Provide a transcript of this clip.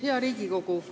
Hea Riigikogu!